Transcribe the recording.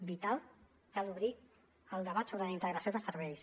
vital cal obrir el debat sobre la integració de serveis